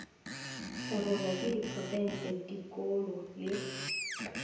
hlabollwa ke diprofense dikolo le